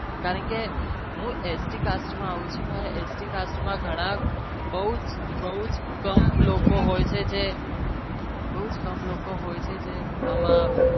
કારણ કે હું sp class માં આવું છુ જે કે બૌ જ કમ લોકો હોય છે જે અમ